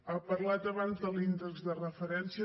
ha parlat abans de l’índex de referència